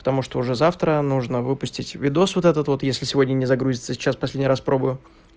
потому что уже завтра нужно выпустить видео вот этот вот если сегодня не загрузится сейчас последний раз пробую